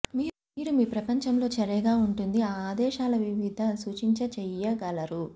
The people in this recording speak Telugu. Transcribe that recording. మీరు మీ ప్రపంచంలో చర్యగా ఉంటుంది ఆ ఆదేశాల వివిధ సూచించే చెయ్యగలరు